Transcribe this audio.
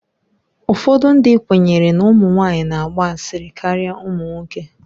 Ụfọdụ ndị kwenyere na ụmụ nwanyị na-agba asịrị karịa ụmụ nwoke.